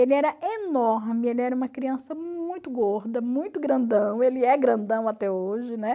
Ele era enorme, ele era uma criança muito gorda, muito grandão, ele é grandão até hoje, né?